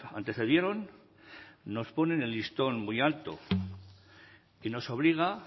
antecedieron nos ponen el listón muy alto y nos obliga